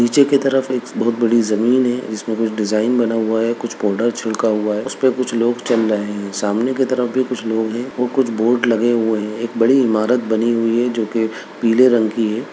नीचे की तरफ एक बहुत बड़ी जमीन है जिसमे कुछ डिजाइन बना हुआ है कुछ पाउडर छलका हुआ है उसपे कुछ लोग चल रहे है सामने की तरफ भी कुछ लोग है व कुछ बोर्ड लगे हुए है एक बड़ी इमारत बनी हुई है जो कि पीले रंग की है।